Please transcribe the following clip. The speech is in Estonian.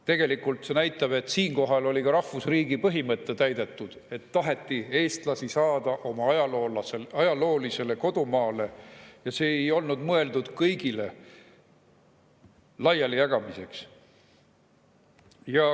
Tegelikult see näitab, et siinkohal on olnud ka rahvusriigi põhimõte täidetud, et on tahetud eestlasi tagasi saada oma ajaloolisele kodumaale, see ei ole olnud mõeldud kõigile laialijagamiseks.